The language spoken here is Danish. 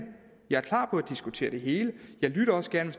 jeg er klar på at diskutere det hele jeg lytter også gerne